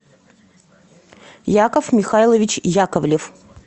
яков михайлович яковлев